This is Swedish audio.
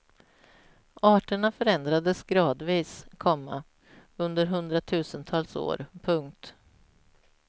Arterna förändrades gradvis, komma under hundratusentals år. punkt